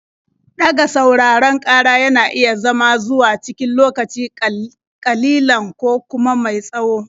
Ɗaga sauraron ƙara yana iya zama zuwa cikin lokaci ƙalilan ko kuma mai tsawo.